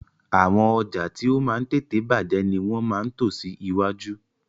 Àwọn ọjà tí ó máa ń tètè bàjẹ́ ni wọ́n máa ń tò sí iwájú